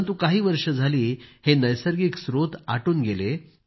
परंतु काही वर्षे झाली हे नैसर्गिक स्त्रोत आटून गेले